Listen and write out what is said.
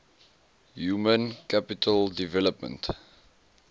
human capital development